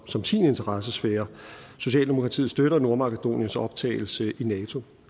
som sin interessesfære socialdemokratiet støtter nordmakedoniens optagelse i nato